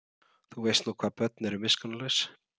Þú veist nú hvað börn eru miskunnarlaus.